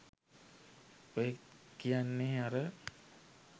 ඔය කියන්නේ අර